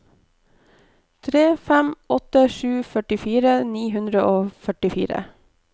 tre fem åtte sju førtifire ni hundre og førtifire